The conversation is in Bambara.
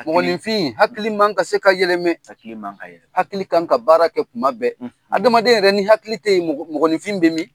Hakili. Mɔgɔnfin, hakili man ka se ka yɛlɛmɛ. Hakili man ka yɛlɛma. Hakili kan ka baara kɛ kuma bɛɛ. Adamaden yɛrɛ ni hakili tɛ yen mɔgɔninfin bɛ min?